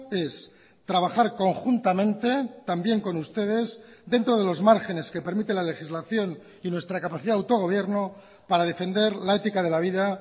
es trabajar conjuntamente también con ustedes dentro de los márgenes que permite la legislación y nuestra capacidad de autogobierno para defender la ética de la vida